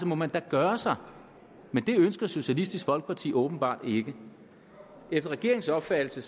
må man da gøre sig men det ønsker socialistisk folkeparti åbenbart ikke efter regeringens opfattelse